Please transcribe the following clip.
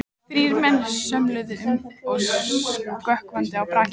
Þrír menn svömluðu um í sökkvandi brakinu.